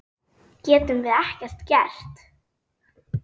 Getum við ekkert gert?